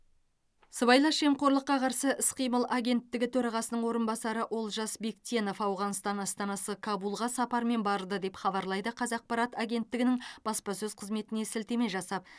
сыбайлас жемқорлыққа қарсы іс қимыл агенттігі төрағасының орынбасары олжас бектенов ауғанстан астанасы кабулға сапармен барды деп хабарлайды қазақпарат агенттігінің баспасөз қызметіне сілтеме жасап